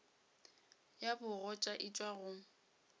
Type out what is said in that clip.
ya bogoja e tšwa go